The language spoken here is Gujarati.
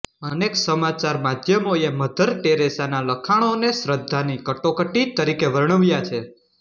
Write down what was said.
અનેક સમાચાર માધ્યમોએ મધર ટેરેસાનાં લખાણોને શ્રદ્ધાની કટોકટી તરીકે વર્ણવ્યા છે